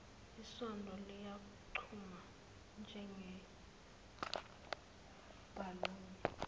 isondo liyaqhuma njengebhaluni